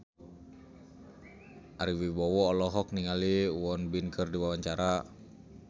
Ari Wibowo olohok ningali Won Bin keur diwawancara